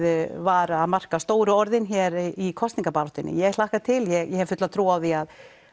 var að marka stóru orðin hér í kosningabaráttunni ég hlakka bara til ég hef fulla trú á því